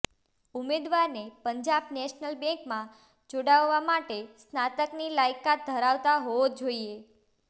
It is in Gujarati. ઉમેદવારને પંજાબ નેશનલ બેંકમાં જોડાવવા માટે સ્નાતકની લાયકાત ધરાવતા હોવો જોઈએ